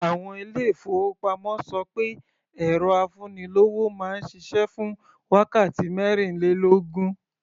Àwọn ilé-ìfowópamọ́ ṣọ pé ẹ̀rọ afúnilówó máa ń ṣiṣẹ́ fún wákàtí mẹ́rìnlélógún.